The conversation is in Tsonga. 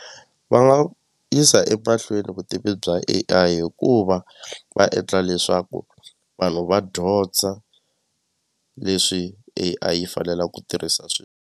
va nga yisa emahlweni vutivi bya A_I hikuva va endla leswaku vanhu va dyondza leswi A_I yi fanela ku tirhisa .